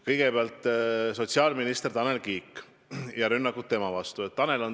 Kõigepealt, sotsiaalminister Tanel Kiik ja tema vastu suunatud rünnakud.